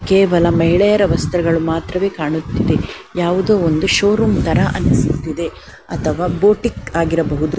ಕೇವಲ ಮಹಿಳೆಯರ ವಸ್ತ್ರಗಳು ಮಾತ್ರವೇ ಕಾಣುತ್ತಿದೆ. ಯಾವುದೊ ಒಂದು ಷೋರೂಮ್ ತರ ಅನಿಸುತ್ತಿದೆ ಅಥವಾ ಬೋಟಿಕ್ ಆಗಿರಬಹುದು.